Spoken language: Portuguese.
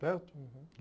Certo? Uhum.